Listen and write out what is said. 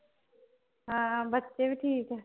ਹਾਂ ਬੱਚੇ ਵੀ ਠੀਕ ਏ